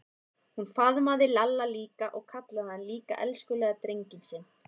Hún faðmaði Lalla líka og kallaði hann líka elskulega drenginn sinn.